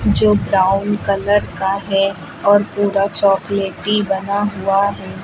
जो brown colour का है और पूरा चॉकलेटी बना हुआ है।